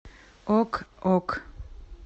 ок ок